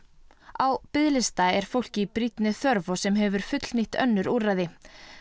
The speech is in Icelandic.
á biðlista er fólk í brýnni þörf og sem hefur fullnýtt önnur úrræði